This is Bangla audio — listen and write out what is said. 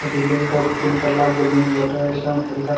বিল্ডিং টা তিন তোলা বিল্ডিং বটে একদম